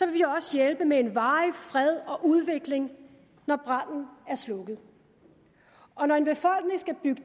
vi også hjælpe med en varig fred og udvikling når branden er slukket og når en befolkning skal bygge